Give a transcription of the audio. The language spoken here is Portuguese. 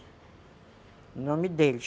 O nome dele.